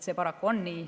See paraku on nii.